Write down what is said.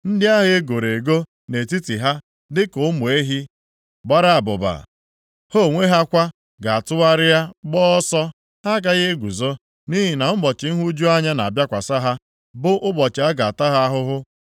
Ndị agha e goro ego nọ nʼetiti ha dịka ụmụ ehi gbara abụba. Ha onwe ha kwa ga-atụgharịa gbaa ọsọ, ha agaghị eguzo, nʼihi na ụbọchị nhụju anya na-abịakwasị ha, bụ ụbọchị a ga-ata ha ahụhụ.